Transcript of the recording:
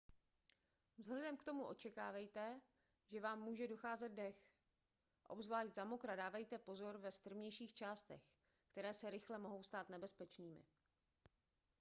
vzhledem k tomu očekávejte že vám může docházet dech obzvlášť za mokra dávejte pozor ve strmějších částech které se rychle mohou stát nebezpečnými